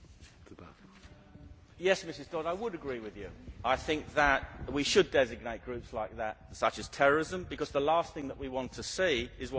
Yes Mrs Dodds, I would agree with you. I think that we should designate groups like that as terrorism because the last thing that we want to see is what happened in Northern Ireland.